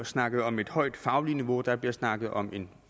snakket om et højt fagligt niveau og der bliver snakket om en